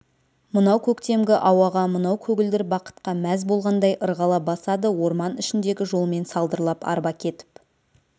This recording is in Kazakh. мынау көктемгі ауаға мынау көгілдір бақытқа мәз болғандай ырғала басады орман ішіндегі жолмен салдырлап арба кетіп